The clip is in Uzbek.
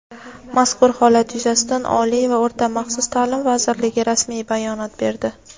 Mazkur holat yuzasidan Oliy va o‘rta-maxsus ta’lim vazirligi rasmiy bayonot berdi.